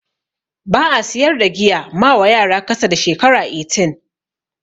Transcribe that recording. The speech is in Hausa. Ba'a siyar da giya mawa yara kasa da shekara 18